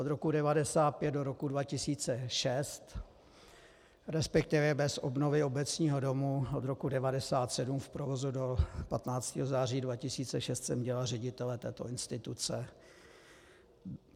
Od roku 1995 do roku 2006, respektive bez obnovy Obecního domu od roku 1997 v provozu do 15. září 2006 jsem dělal ředitele této instituce.